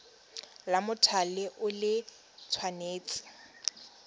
la mothale o le tshwanetse